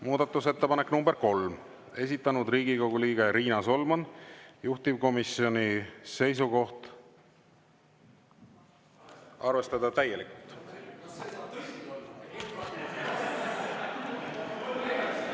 Muudatusettepanek nr 3, esitanud Riigikogu liige Riina Solman, juhtivkomisjoni seisukoht: arvestada täielikult.